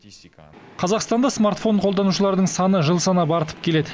қазақстанда смартфон қолданушылардың саны жыл санап артып келеді